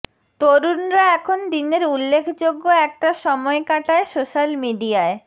তরুণরা এখন দিনের উল্লেখযোগ্য একটা সময় কাটায় সোশ্যাল মিডিয়ায়